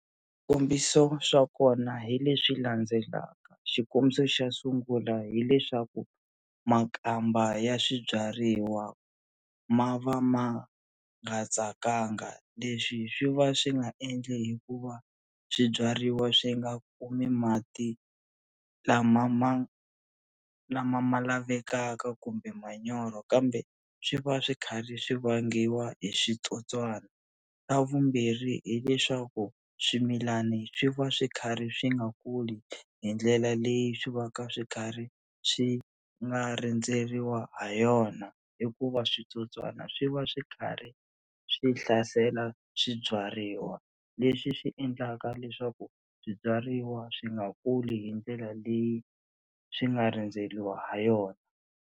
Swikombiso swa kona hi leswi landzelaka xikombiso xa sungula hileswaku makamba ya swibyariwa ma va ma nga tsakanga leswi swi va swi nga endli hikuva swibyariwa swi nga kumi mati lama ma lama ma lavekaka kumbe manyoro kambe swi va swi karhi swi vangiwa hi switsotswana, xa vumbirhi hileswaku swimilani swi va swi karhi swi nga kuli hi ndlela leyi swi va ka swi karhi swi nga rindzeriwa ha yona hikuva switsotswana swi va swi karhi swi hlasela swibyariwa leswi swi endlaka leswaku swibyariwa swi nga kuli hi ndlela leyi swi nga rendzeriwa ha yona.